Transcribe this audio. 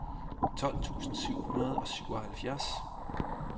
tolv tusind syv hundrede og syvoghalvfjerds